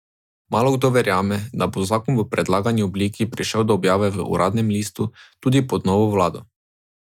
V Havani so po pol stoletja dolgem sporu med državama na novo ameriško veleposlaništvo obesili ameriško zastavo.